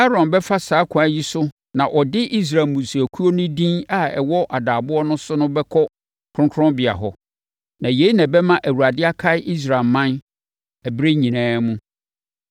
“Aaron bɛfa saa ɛkwan yi so na ɔde Israel mmusuakuo no din a ɛwɔ adaaboɔ no so no bɛkɔ kronkronbea hɔ; na yei na ɛbɛma Awurade akae Israelman ɛberɛ nyinaa mu.